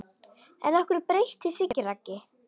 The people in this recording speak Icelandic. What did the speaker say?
En hverju breytti Siggi Raggi?